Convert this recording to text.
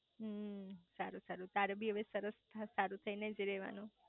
હમ્મ સારું સારું તારે બી હવે સરસ સારું થઇ નેજ રેવાનું